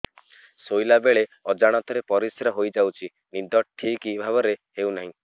ଶୋଇଲା ବେଳେ ଅଜାଣତରେ ପରିସ୍ରା ହୋଇଯାଉଛି ନିଦ ଠିକ ଭାବରେ ହେଉ ନାହିଁ